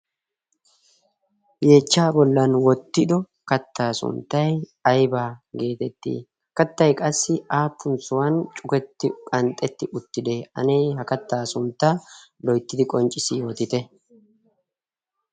yeechchaa bollan wottido kattaa sunttay aibaa geetetti kattai qassi aappun sohuwan cuketti qanxxetti uttide anee ha kattaa sunttaa loyttidi qonccissi yootite